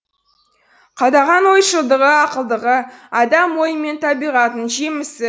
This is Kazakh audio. қадағаң ойшылдығы ақылдығы адам ойы мен табиғатының жемісі